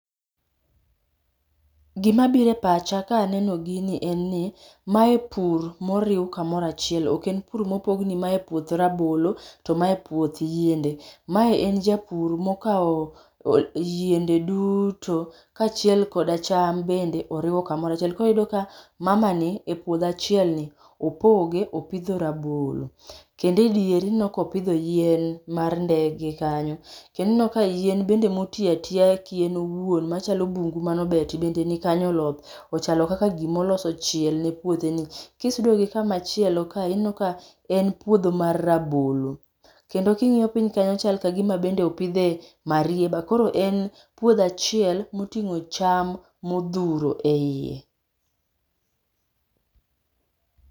Gima biro e pacha ka aneno gini, en ni, mae pur moriw kamoro achiel. Ok en pur mopogni mae puoth rabolo, to mae puoth yende. Mae en japur mokawo yiende duto, kaachiel koda cham, oriwo kamoro achiel. Koro iyudo ka mamani, e puodho achielni, opoge, opidho rabolo, kendo e diere ineno ka opidho yien mar ndege kanyo. Kendo ineno ka yien bende ma oti atiya ki en owuon, machalo bungu manobeti, bende ni kanyo oloth. Ochalo kaka gima oloso chiel ne puotheni. Kisudo gi kamachielo kae, ineno ka en puodho mar rabolo. Kendo kingíyo piny kanyo chalo ka gima opideh marieba, koro en puodho achiel, motingó cham modhuro eiye.